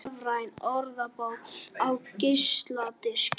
Rafræn orðabók á geisladiski